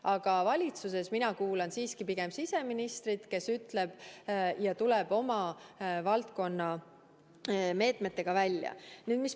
Aga valitsuses mina kuulan siiski pigem siseministrit, kes tuleb oma valdkonna meetmetega välja.